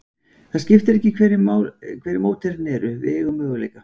Það skiptir ekki máli hverjir mótherjarnir eru, við eigum möguleika.